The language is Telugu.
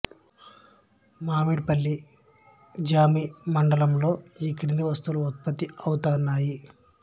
మామిడిపల్లి జామి మండలంలో ఈ కింది వస్తువులు ఉత్పత్తి అవుతున్నాయి